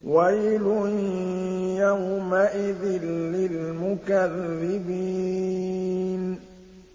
وَيْلٌ يَوْمَئِذٍ لِّلْمُكَذِّبِينَ